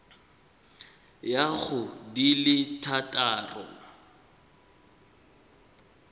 ya go di le thataro